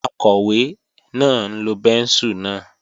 Akọ̀wé náà ń lo bẹ́ńsù náà